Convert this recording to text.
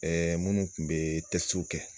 Munnu kun bɛ kɛ.